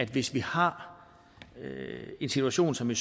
hvis vi har en situation som i